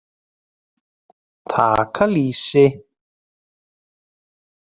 Taka lýsi!